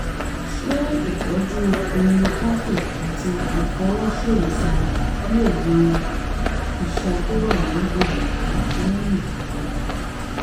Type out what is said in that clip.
ṣé ìtọ́jú homeopathy àti ìfọwọ́ṣèwòsàn lè wo um iṣan um tó wà ní èjìká lẹ́yìn ìjàm̀bá?